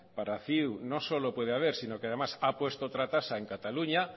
para ciu no solo puede haber sino que además ha puesto otra tasa en cataluña